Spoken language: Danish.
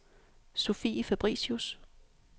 Sofie Fabricius